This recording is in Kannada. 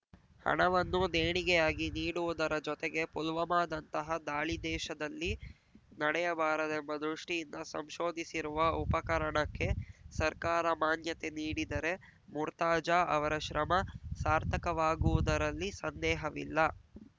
ಹಣವನ್ನು ದೇಣಿಗೆಯಾಗಿ ನೀಡುವುದರ ಜೊತೆಗೆ ಪುಲ್ವಾಮದಂತಹ ದಾಳಿ ದೇಶದಲ್ಲಿ ನಡೆಯಬಾರದೆಂಬ ದೃಷ್ಟಿಯಿಂದ ಸಂಶೋಧಿಸಿರುವ ಉಪಕರಣಕ್ಕೆ ಸರ್ಕಾರ ಮಾನ್ಯತೆ ನೀಡಿದರೆ ಮುರ್ತಾಜಾ ಅವರ ಶ್ರಮ ಸಾರ್ಥಕವಾಗುವುದರಲ್ಲಿ ಸಂದೇಹವಿಲ್ಲ